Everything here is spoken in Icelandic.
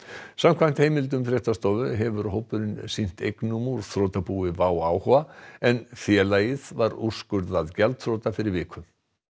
samkvæmt heimildum fréttastofu hefur hópurinn sýnt eignum úr þrotabúi WOW áhuga en félagið var úrskurðað gjaldþrota fyrir viku